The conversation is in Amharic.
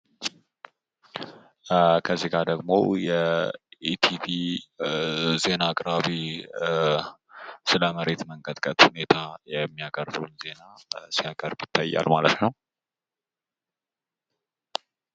ከዚጋ ደግሞ የኢቲቪ ዜና አቅራቢ ሰለመሬት መንቀጥቀጥ ሁኔታ የሚያቀርበውን ዜና ሲያቀርብ ይታያል ማለት ነው።